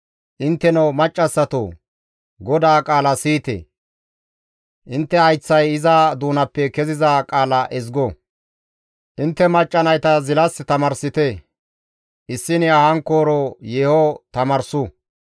Intteno maccassatoo! GODAA qaala siyite! Intte hayththay iza doonappe keziza qaala ezgo. Intte macca nayta zilas tamaarsite; issiniya hankkooro yeeho tamaarsu.